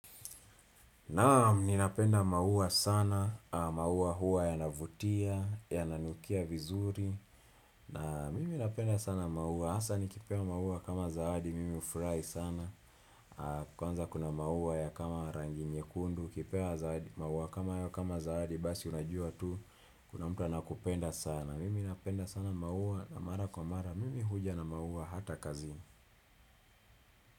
Naam ninapenda maua sana, maua huwa yanavutia, yananukia vizuri, mimi napenda sana maua, hasa nikipewa maua kama zawadi, mimi hufurahi sana, kwanza kuna maua ya kama rangi nyekundu, ukipewa zawa maua kama hayo kama zawadi, basi unajua tu, kuna mtu anakupenda sana, mimi napenda sana maua na mara kwa mara, mimi huja na maua hata kazi.